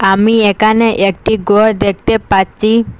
আমি একানে একটি গর দেখতে পাচ্চি।